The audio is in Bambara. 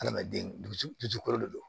Adamaden dusu dusukolo de don